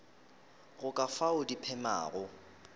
go ka fao di phemago